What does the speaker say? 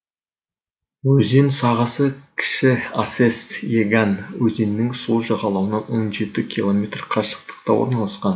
өзен сағасы кіші асес еган өзенінің сол жағалауынан он жеті километр қашықтықта орналасқан